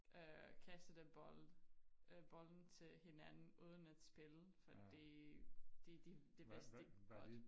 Øh kastede den bold øh bolden til hinanden uden at spille fordi de de det vigtigste de godt